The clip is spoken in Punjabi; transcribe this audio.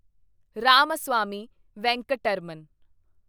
ਰਾਮਾਸਵਾਮੀ ਵੈਂਕਟਰਮਨ